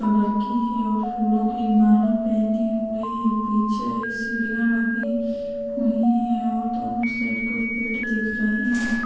Colour की है और फूलो की माला पहने हुए है पीछे एक सीढियाँ लगी हुई है और दोनों साइड कुछ पेड़ दिख रहे है।